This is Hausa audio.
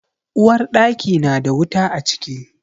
Uwarɗaki na da wuta a ciki.